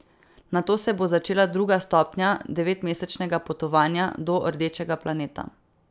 Nato se bo začela druga stopnja devetmesečnega potovanja do rdečega planeta.